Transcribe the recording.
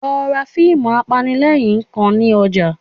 Lọ ra fíìmù apanilẹ́rìn-ín kan wá ní ọjà